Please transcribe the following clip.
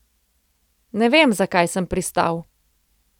Ne vem, zakaj sem pristal.